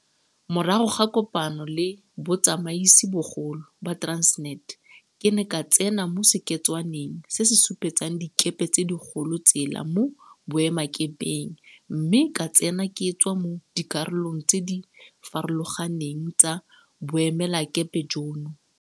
Morago ga kopano le botsamaisibogolo ba Transnet, ke ne ka tsena mo seketswaneng se se supetsang dikepe tse dikgolo tsela mo boemakepeng mme ka tsena ke tswa mo dikarolong tse di farologaneng tsa boemelakepe jono.